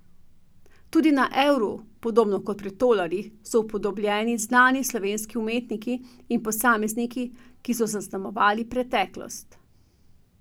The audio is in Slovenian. Tudi na evru, podobno kot pri tolarjih, so upodobljeni znani slovenski umetniki in posamezniki, ki so zaznamovali preteklost.